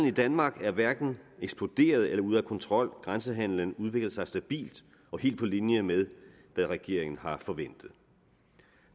i danmark er hverken eksploderet eller ude af kontrol grænsehandelen udvikler sig stabilt og helt på linje med hvad regeringen har forventet